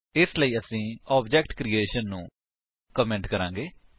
ਇਸਲਈ ਅਸੀ ਇਸ ਆਬਜੇਕਟ ਕਰਿਏਸ਼ਨ ਨੂੰ ਕਮੇਂਟ ਕਰਾਂਗੇ